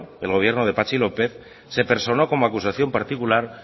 el gobierno de patxi lópez se personó como acusación particular